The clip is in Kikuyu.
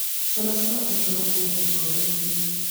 cũna cũna ũcũrũ kuma gĩkobe inĩ